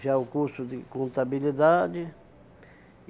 já o curso de contabilidade.